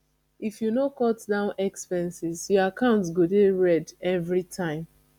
if you no cut down expenses your account go dey red every time